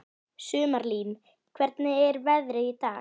Sumarlín, hvernig er veðrið í dag?